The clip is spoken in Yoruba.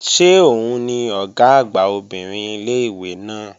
Ṣé òun ni Ọ̀gá àgbà obìnrin ilé-ìwé náà?